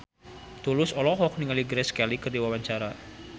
Tulus olohok ningali Grace Kelly keur diwawancara